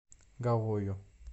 гаою